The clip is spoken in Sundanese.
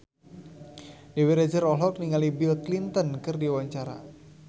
Dewi Rezer olohok ningali Bill Clinton keur diwawancara